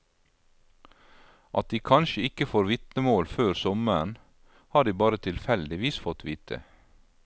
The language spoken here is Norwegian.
At de kanskje ikke får vitnemål før sommeren, har de bare tilfeldigvis fått vite.